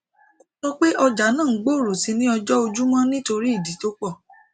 o sọpe ọjà na òun gbòrò sì ni ọjọ ojúmọ nítorí ìdí tó pò